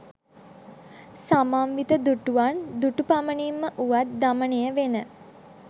සමන්විත දුටුවන් දුටුපමනින්ම උවත් දමනයවෙන